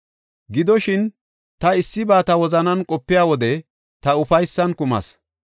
Gidoshin, ta issiba ta wozanan qopiya wode ta ufaysan kumayis.